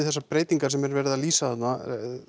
þessar breytingar sem er verið að lýsa þarna